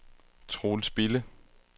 Troels Bille